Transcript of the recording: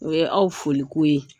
O ye aw foliko ye.